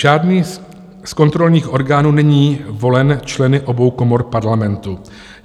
Žádný z kontrolních orgánů není volen členy obou komor Parlamentu.